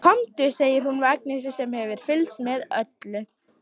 Komdu, segir hún við Agnesi sem hefur fylgst með öllu.